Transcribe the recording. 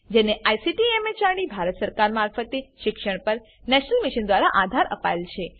જેને ICT MHRD Bharat સરકાર મારફતે શિક્ષણ પર નેશનલ મિશન દ્વારા આધાર અપાયેલ છે